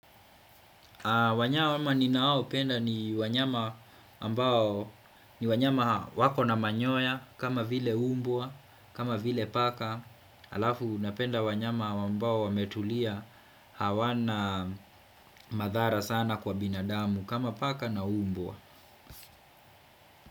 Wanyama ninao penda ni wanyama ni wanyama wako na manyoya kama vile umbwa, kama vile paka alafu napenda wanyama wambao wametulia hawana madhara sana kwa binadamu kama paka na umbwa.